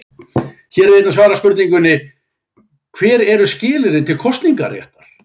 Hér er einnig svarað spurningunni: Hver eru skilyrðin til kosningaréttar?